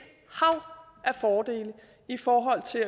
hav af fordele i forhold til